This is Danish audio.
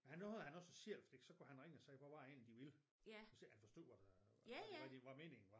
Der nåede han også selv fordi der kunne han ringe og sige hvad var det egentlig de ville hvis ikke han forstod hvad det hvad meningen var